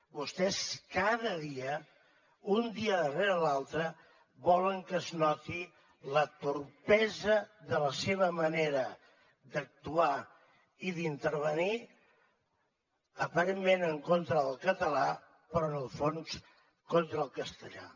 vostès cada dia un dia darrere l’altre volen que es noti la malaptesa de la seva manera d’actuar i d’intervenir aparentment en contra del català però en el fons contra el castellà